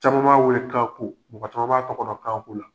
Caman b'a weele ko kako, mɔgɔ camanma b'a tɔgɔ dɔn kako la.